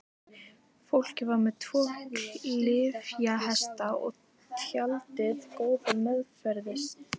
Fólkið var með tvo klyfjahesta og tjaldið góða meðferðis.